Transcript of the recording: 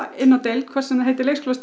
inni á deild hvort sem við heitum leikskólastjóri